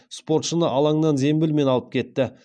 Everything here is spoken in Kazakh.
спортшыны алаңнан зембілмен алып кетті